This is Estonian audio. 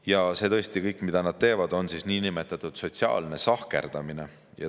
Ja see kõik, mida nad teevad, on niinimetatud sotsiaalne sahkerdamine.